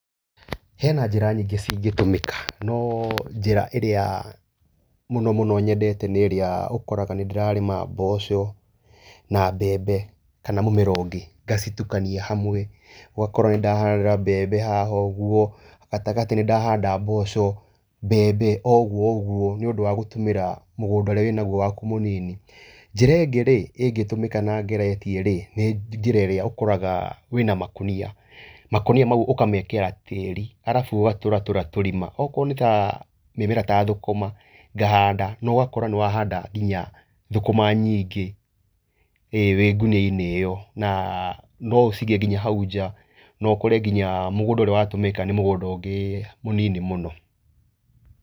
Hena njĩra nyingĩ ci ngĩtũmĩka, no njĩra ĩrĩa mũno mũno nyendete nĩ ĩrĩa ũkoraga nĩ ndĩrarĩma mboco na mbembe kana mũmera ũngĩ ngacitukania hamwe. Ũgakora nĩ ndahanda mbebe haha ũguo, gatagatĩ nĩ ndahanda mboco. mbembe, ũgu ũguo, nĩũndũ wa gũtũmĩra mũgũnda ũrĩa wĩ naguo waku mũnini. Njĩra ũngĩ rĩ, ĩngĩtũmĩka na ngeretie nĩ njĩra ĩrĩa ũkoraga wina makũnia, makũnia mau ũkamekĩra tĩrĩ, arabu ũkaatũratũra tũrima, akorwo nĩta mũmera ta thũkũma ngahanda, na ũgakora nĩ wahanda nginya thũkũma nyingĩ, wĩ ngũnia-nĩ ĩyo, na no ũcige nginya hau nja, na no ũkore nginya mũgũnda ũrĩa watũmĩka nĩ mũgũnda ũmwe mũnini mũno.